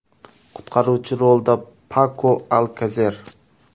Qutqaruvchi rolida Pako Alkaser.